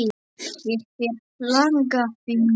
Ég hef langa fingur.